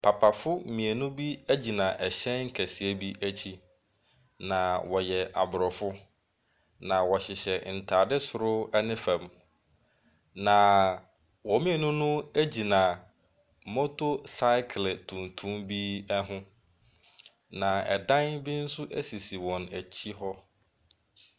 Papafoɔ mmienu bi egyina ɛhyɛn kɛseɛ bi akyi, na ɔyɛ abrofo, na ɔhyehyɛ ntaade soro ne fam. Na wɔn mmienu no gyina motor cycle tuntum bi ho. Na ɛdan bi nso esisi wɔakyi hɔ.